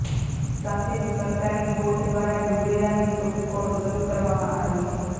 સાથે જ સરકારી બોટ દ્વારા ડૂબેલાની શોધખોળ શરૂ કરવામાં આવી છે